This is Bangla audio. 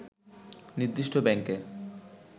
নির্দিষ্ট ব্যাংকে